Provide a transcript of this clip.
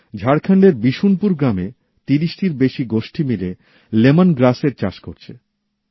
ঝাড়খণ্ডের বিশুনপুর গ্রামে তিরিশটির বেশি গোষ্ঠী মিলে লেমনগ্রাসের চাষ করছে